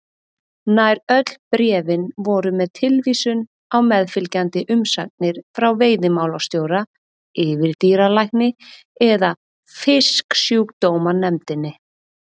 Nær öll bréfin voru með tilvísun á meðfylgjandi umsagnir frá veiðimálastjóra, yfirdýralækni eða Fisksjúkdómanefndinni.